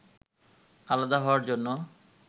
আলাদা হওয়ার জন্য